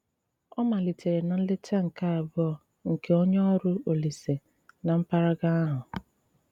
Ọ́ málítéré ná nlétá nké àbuò nké onye órụ́ Òlíse ná m̀pàràgà áhụ́.